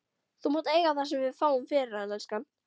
Þú mátt eiga það sem við fáum fyrir hann, elskan.